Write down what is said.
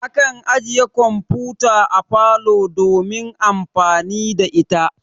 Akan ajiye kamfuta a parlor domin amfani da ita.